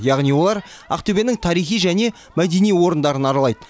яғни олар ақтөбенің тарихи және мәдени орындарын аралайды